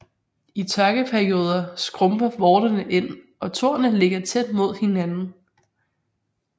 I tørkeperioder skrumper vorterne ind og tornene ligger tæt mod hinanden